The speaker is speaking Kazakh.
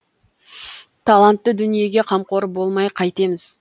талантты дүниеге қамқор болмай қайтеміз